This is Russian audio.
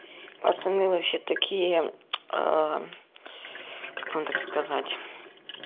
пацаны вообще такие как вам так сказать